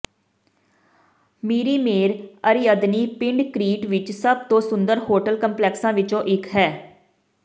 ਮੀਰੀਮੇਰ ਅਰੀਅਦਨੀ ਪਿੰਡ ਕ੍ਰੀਟ ਵਿਚ ਸਭ ਤੋਂ ਸੁੰਦਰ ਹੋਟਲ ਕੰਪਲੈਕਸਾਂ ਵਿੱਚੋਂ ਇੱਕ ਹੈ